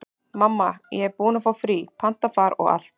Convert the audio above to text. Mamma, ég er búin að fá frí, panta far og allt.